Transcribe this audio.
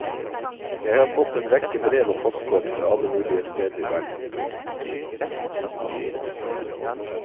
Jeg har fått en rekke brev og postkort fra alle mulige steder i verden. punktum